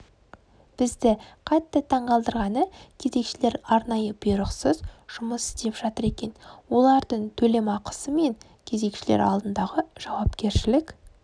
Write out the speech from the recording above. бізді қатты таңғалдырғаны кезекшілер арнайы бұйрықсыз жұмыс істеп жатыр екен олардың төлемақысы мен кезекшілер алдындағы жауапкершілік